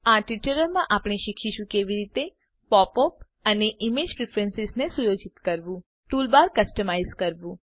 આ ટ્યુટોરીયલમાં આપણે શીખીશું કે કેવી રીતે પોપ અપ અને ઈમેજ પ્રીફ્રેન્સીઝ પસંદગીઓને સુયોજિત કરવું ટૂલબાર કસ્ટમાઈઝ કરવું